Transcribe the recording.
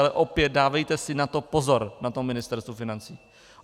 Ale opět, dávejte si na to pozor na tom Ministerstvu financí!